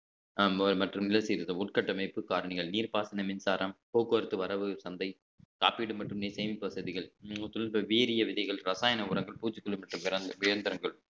அஹ் மற்றும் நில சீர்திருத்தம் உட்கட்டமைப்பு காரணிகள் நீர்ப்பாசன மின்சாரம் போக்குவரத்து வரவு சந்தை காப்பீடு மற்றும் சேமிப்பு வசதிகள் வீரிய விதைகள் ரசாயன உரங்கள் பூச்சிக்கொல்லி மற்றும் இயந்திரங்கள்